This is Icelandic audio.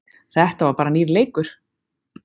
Þetta var bara nýr leikur